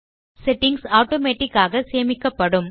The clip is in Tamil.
செட்டிங்ஸ் ஆட்டோமேட்டிக் ஆக சேமிக்கப்படும்